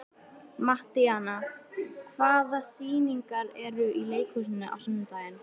Mattíana, hvaða sýningar eru í leikhúsinu á sunnudaginn?